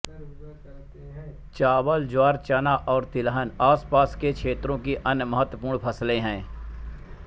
चावल ज्वार चना और तिलहन आसपास के क्षेत्रों की अन्य महत्त्वपूर्ण फ़सलें हैं